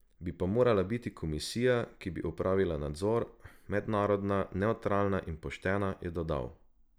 Bi pa morala biti komisija, ki bi opravila nadzor, mednarodna, nevtralna in poštena, je dodal.